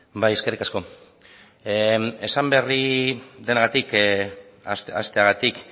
bai eskerrik asko esan berri denagatik hasteagatik